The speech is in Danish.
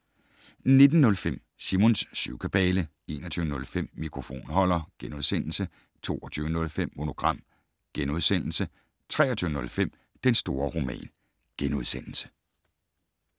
19:05: Simons syvkabale 21:05: Mikrofonholder * 22:05: Monogram * 23:05: Den store roman *